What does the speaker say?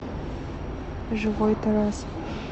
живой тарас